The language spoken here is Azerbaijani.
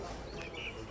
Hamısını çatdırdıq.